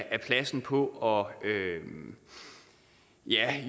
af pladsen på at ja